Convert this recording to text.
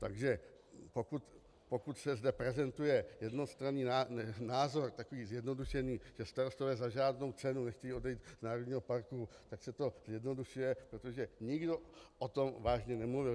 Takže pokud se zde prezentuje jednostranný názor takový zjednodušený, že starostové za žádnou cenu nechtějí odejít z národního parku, tak se to zjednodušuje, protože nikdo o tom vážně nemluvil.